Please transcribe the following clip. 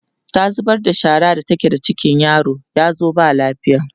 ta zubar da shara da take da ciki yaron yazo ba lafiya